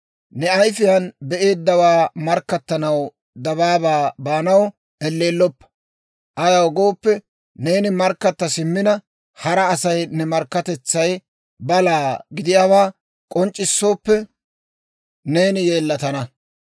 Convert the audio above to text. Ne ayifiyaan be'eeddawaa markkattanaw dabaabaa baanaw elleelloppa; ayaw gooppe, neeni markkatta simmina, hara Asay ne markkatetsay balaa gidiyaawaa k'onc'c'issooppe, neeni yeellatana.